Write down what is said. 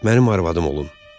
Mənim arvadım olun.